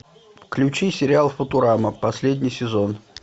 включи сериал футурама последний сезон